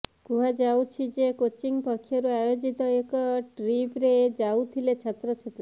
କୁହାଯାଉଛି ଯେ କୋଚିଂ ପକ୍ଷରୁ ଆୟୋଜିତ ଏକ ଟ୍ରିପରେ ଯାଉଥିଲେ ଛାତ୍ରଛାତ୍ରୀ